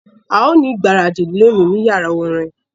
A yóò ni igbaradi loni ni yara orin